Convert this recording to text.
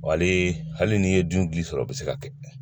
Wa hali n'i ye dun sɔrɔ o bɛ se ka kɛ